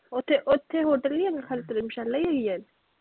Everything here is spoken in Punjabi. ਓਥੇ hotel ਨਹੀਂ ਹੈਗਾ ਖਾਲੀ ਧਰਮਸ਼ਾਲਾ ਹੀ ਹੈਗੀ ਆ?